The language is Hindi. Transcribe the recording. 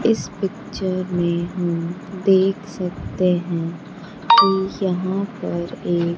इस पिक्चर में हम देख सकते हैं कि यहां पर एक--